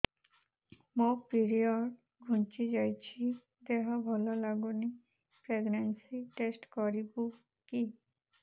ମୋ ପିରିଅଡ଼ ଘୁଞ୍ଚି ଯାଇଛି ଦେହ ଭଲ ଲାଗୁନି ପ୍ରେଗ୍ନନ୍ସି ଟେଷ୍ଟ କରିବୁ କି